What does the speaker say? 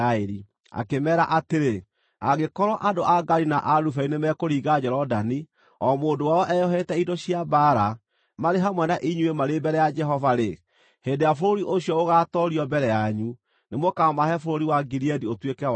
akĩmeera atĩrĩ, “Angĩkorwo andũ a Gadi na a Rubeni nĩmekũringa Jorodani, o mũndũ wao eyohete indo cia mbaara, marĩ hamwe na inyuĩ marĩ mbere ya Jehova-rĩ, hĩndĩ ĩrĩa bũrũri ũcio ũgatoorio mbere yanyu, nĩmũkamahe bũrũri wa Gileadi ũtuĩke wao.